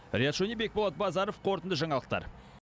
риат шони бекболат базаров қорытынды жаңалықтар